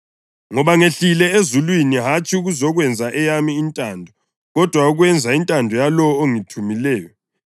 Ngoba ngehlile ezulwini, hatshi ukuzokwenza eyami intando kodwa ukwenza intando yalowo ongithumileyo.